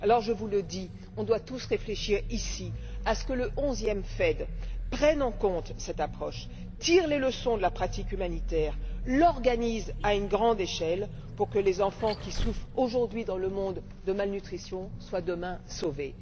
Je vous le dis, nous devons tous réfléchir et veiller à ce que le onzième FED prenne en compte cette approche, tire les leçons de la pratique humanitaire, l'organise à une grande échelle pour que les enfants qui souffrent aujourd'hui dans le monde de malnutrition soient demain sauvés.